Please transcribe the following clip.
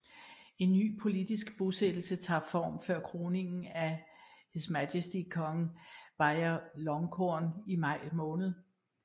En ny politisk bosættelse tager form før kroningen af HM Kong Vajiralongkorn i maj måned